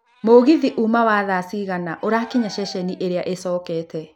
Mũgithi ũma wa thaa cigana ũrakinya ceceni ĩria ĩcokete